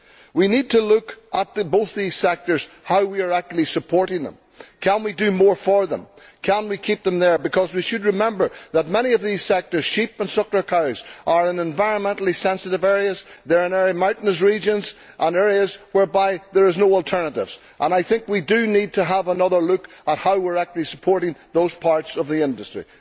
We need to look at both these sectors, at how we are actually supporting them. Can we do more for them? Can we keep them there? Because we should remember that many of these sectors, such as sheep and suckler cows, are in environmentally sensitive areas, they are in mountainous regions and areas where there is no alternative, and I think we need to have another look at how we are supporting those parts of the industry.